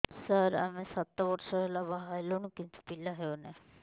ସାର ଆମେ ସାତ ବର୍ଷ ହେଲା ବାହା ହେଲୁଣି କିନ୍ତୁ ପିଲା ହେଉନାହିଁ